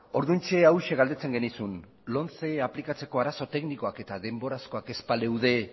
orduan hauxe galdetzen genizun lomce aplikatzeko arazo teknikoak eta denborazkoak ez baleude